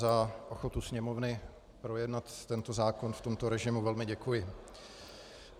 Za ochotu Sněmovny projednat tento zákon v tomto režimu velmi děkuji.